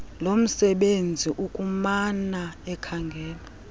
lomsebenzisi ukumana ekhangela